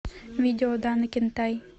видео дана кентай